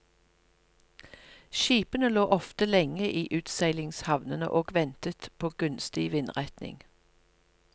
Skipene lå ofte lenge i utseilingshavnene og ventet på gunstig vindretning.